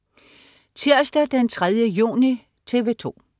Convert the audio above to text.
Tirsdag den 3. juni - TV 2: